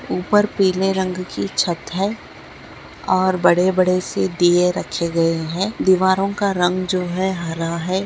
ऊपर पिले रंग की छत है और बड़े बड़े से दिए रखे गए है दीवारों का रंग जो है हरा है।